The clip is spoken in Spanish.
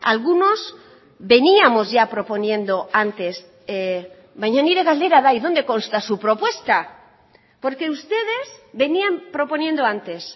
algunos veníamos ya proponiendo antes baina nire galdera da y dónde consta su propuesta porque ustedes venían proponiendo antes